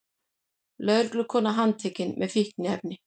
Lögreglukona handtekin með fíkniefni